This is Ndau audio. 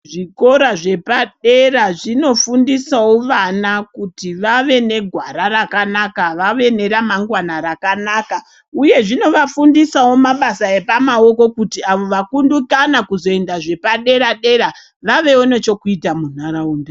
Zvikora zvepadera zvinofundisawo vana kuti vave negwara rakanaka vave neramangwana rakanaka uye zvinovafundisavo mabasa epamaoko kuti vakundikana kuzoenda zvepadera-dera vavewo nechekuita munharaunda.